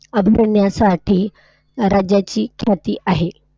राज्याची ख्याती आहे.